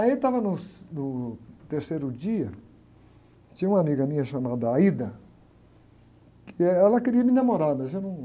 Aí, eu estava nos, no terceiro dia, tinha uma amiga minha chamada, que, eh, ela queria me namorar, mas eu não...